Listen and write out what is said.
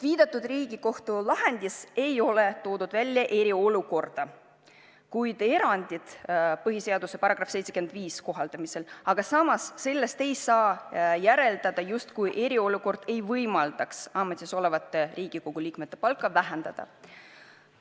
" Viidatud Riigikohtu lahendis ei ole nimetatud eriolukorda kui erandit põhiseaduse § 75 kohaldamisel, aga sellest ei saa järeldada, et eriolukord ei võimalda ametisolevate Riigikogu liikmete palka vähendada.